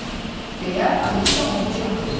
Deyə Alisa onu çağırdı.